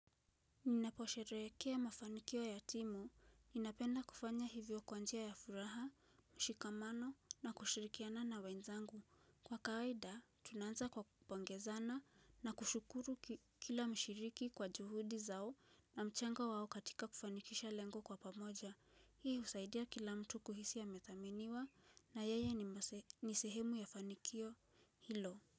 Ninaposherehekea mafanikio ya timu, ninapenda kufanya hivyo kwa njia ya furaha, mshikamano na kushirikiana na wenzangu. Kwa kawaida, tunaanza kwa kupongezana na kushukuru kila mshiriki kwa juhudi zao na mchango wao katika kufanikisha lengo kwa pamoja. Hii husaidia kila mtu kuhisi amethaminiwa na yeye ni sehemu ya fanikio hilo.